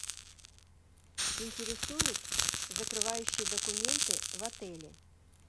интересуют закрывающие документы в отеле